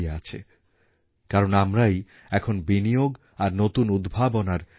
ওঁর ভাবনায় শিল্পএমনই এক শক্তিশালী মাধ্যম যার প্রভাবে দেশের দরিদ্র থেকে দরিদ্রতম মানুষের আয়ের ব্যবস্থা হবে